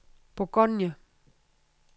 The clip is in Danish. Bourgogne